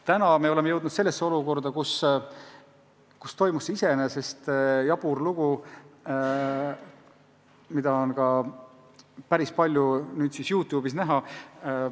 Nüüd me oleme jõudnud olukorda, kus oli võimalik näiteks selline jabur lugu, mida on ka päris palju YouTube'is vaadatud.